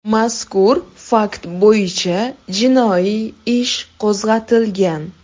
Mazkur fakt bo‘yicha jinoiy ish qo‘zg‘atilgan.